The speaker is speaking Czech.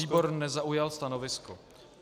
Výbor nezaujal stanovisko.